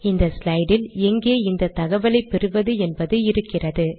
இந்த ஸ்லைட் இல் எங்கே இந்த தகவலை பெறுவது என்பது இருக்கிறது